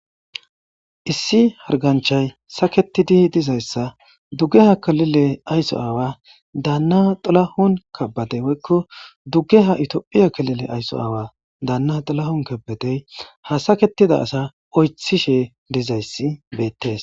Issi harganchay saketidii dizayssa dugge ha kalile ayso aawa daanna xalahun kabade woykko duggeha itoophiya kalile ayso aawa daanna xilahun kabetey ha saketida asa oythishe dizayssi beettees.